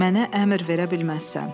Mənə əmr verə bilməzsən.